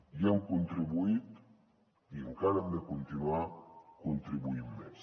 hi hem contribuït i encara hi hem de continuar contribuint més